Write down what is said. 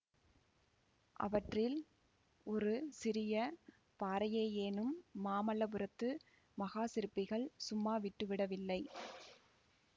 அவற்றில் ஒரு சிறிய பாறையையேனும் மாமல்லபுரத்து மகா சிற்பிகள் சும்மா விட்டுவிடவில்லை